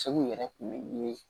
Segu yɛrɛ kun bɛ ye